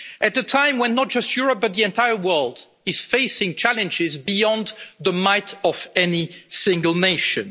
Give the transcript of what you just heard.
at a time when not just Europe but the entire world is facing challenges beyond the might of any single nation.